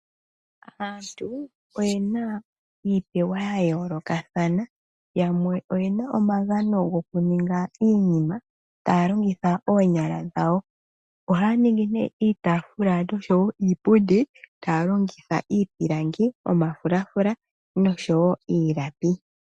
Aantu oyena iipewa ya yoolokathana yamwe oyena iipewa yokuninga iinima taa longitha oonyala dhawo ohaya ningi nee iitafula oshowo iipundi taa longitha iipilangi, omafulafula noshowo iilapi.